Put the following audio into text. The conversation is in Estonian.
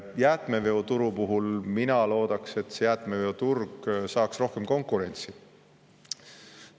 Jäätmeveoturu puhul mina loodaks, et jäätmeveoturg saaks rohkem konkurentsi.